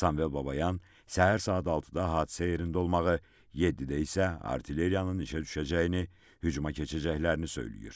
Sambel Babayan səhər saat 6-da hadisə yerində olmağı, 7-də isə artilleriyanın işə düşəcəyini, hücuma keçəcəklərini söyləyir.